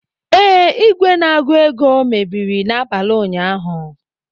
Ee, igwe na-agụ ego mebiri n'abalị ụnyaahụ